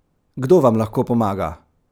Kdo vam lahko pomaga?